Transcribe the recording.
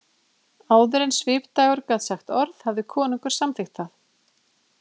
Áður en Svipdagur gat sagt orð hafði konungur samþykkt það.